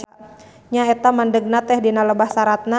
Nya eta mandegna teh dina lebah saratna.